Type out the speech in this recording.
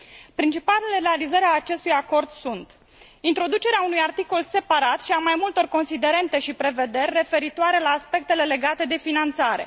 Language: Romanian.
Principalele realizări ale acestui acord sunt Introducerea unui articol separat și a mai multor considerente și prevederi referitoare la aspectele legate de finanțare.